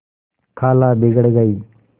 खाला बिगड़ गयीं